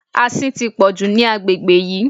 Asin tí pọ̀jù ní agbègbè yìí.